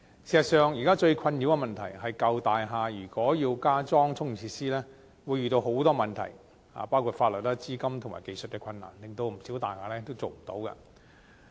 事實上，現時最困擾的問題是舊大廈如果要加裝充電設施會遇到很多問題，包括法律、資金及技術困難，令不少大廈也做不到。